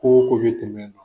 Ko ko bi tɛmɛ